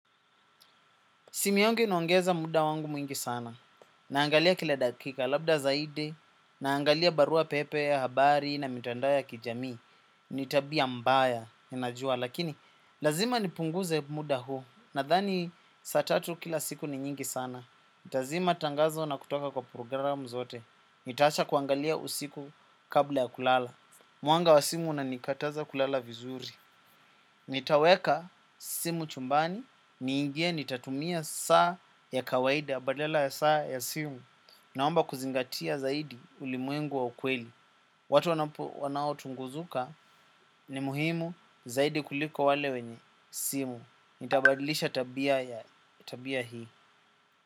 Simu yangu inaongeza muda wangu mwingi sana. Naangalia kila dakika, labda zaidi. Naangalia barua pepe, habari na mitandao ya kijamii. Nitabia mbaya, ninajua. Lakini, lazima nipunguze muda huu. Nadhani, saatatu kila siku ni nyingi sana. Tazima tangazo na kutoka kwa programu zote. Nitaacha kuangalia usiku kabla ya kulala. Mwanga wa simu una nikataza kulala vizuri. Nitaweka simu chumbani, niingie nitatumia saa ya kawaida, badala ya saa ya simu. Naomba kuzingatia zaidi ulimwengu wa ukweli. Watu wanao tunguzuka ni muhimu zaidi kuliko wale wenye simu. Nitabadilisha tabia ya tabia hii.